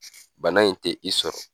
Bana in tɛ i sɔrɔ.